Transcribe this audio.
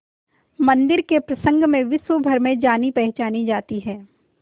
मंदिर के प्रसंग में विश्वभर में जानीपहचानी जाती है